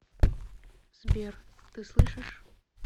сбер ты слышишь